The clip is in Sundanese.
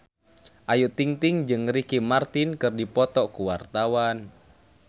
Ayu Ting-ting jeung Ricky Martin keur dipoto ku wartawan